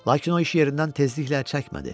Lakin o iş yerindən tezliklə çəkmədi.